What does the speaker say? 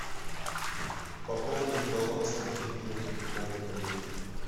пополнить баланс мобильного телефона коллеги